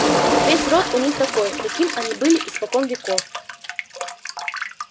весь род у них такой таким они были испокон веков